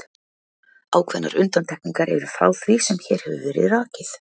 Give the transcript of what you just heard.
Ákveðnar undantekningar eru frá því sem hér hefur verið rakið.